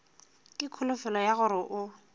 ka kholofelo ya gore o